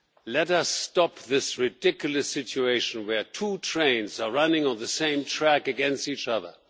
Let us stop this ridiculous situation where two trains are running on the same track against each other.